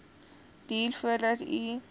duur voordat u